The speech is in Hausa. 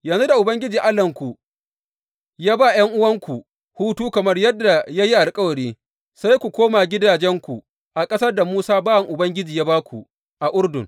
Yanzu da Ubangiji Allahnku ya ba ’yan’uwanku hutu kamar yadda ya yi alkawari, sai ku koma gidajenku a ƙasar da Musa bawan Ubangiji ya ba ku a Urdun.